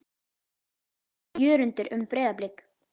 Hvað segir Jörundur um Breiðablik?